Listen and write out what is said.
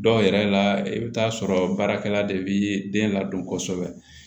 Dɔw yɛrɛ la i bɛ taa sɔrɔ baarakɛla de bɛ den ladon kosɛbɛ